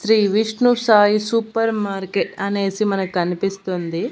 Shri Vishnu Sai super market అనేసి మనక్ కనిపిస్తుంది.